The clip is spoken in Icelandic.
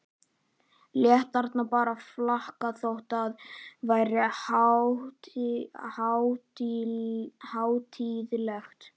Lét það bara flakka þó að það væri hátíðlegt.